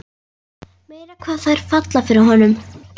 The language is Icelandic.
Meira hvað þær falla fyrir honum!